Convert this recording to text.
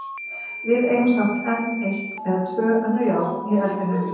Við eigum samt enn eitt eða tvö önnur járn í eldinum.